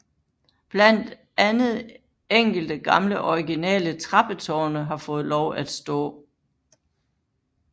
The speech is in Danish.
Blandt andet enkelte gamle originale trappetårne har fået lov at stå